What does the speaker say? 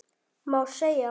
Má segja?